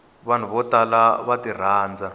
vanhu vo tala va tirhandza